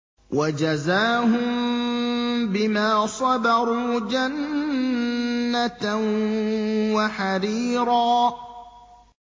وَجَزَاهُم بِمَا صَبَرُوا جَنَّةً وَحَرِيرًا